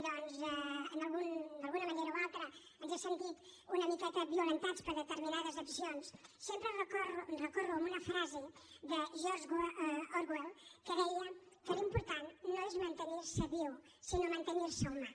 d’alguna manera o altra ens hem sentit una miqueta violentats per determinades accions sempre recorro a una frase de george orwell que deia que l’important no és mantenir se viu sinó mantenir se humà